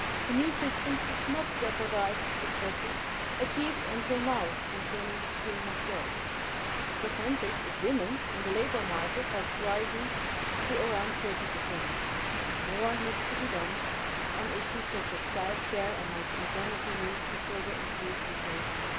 The new system should not jeopardise the successes achieved so far concerning the schooling of girls. The percentage of women in the labour market has risen to around 30, but more needs to be done on issues such as childcare and maternity leave to further increase this ratio.